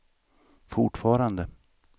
fortfarande